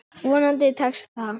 Vonandi tekst það.